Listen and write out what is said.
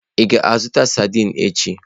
Ị ga-azụta sadin echi?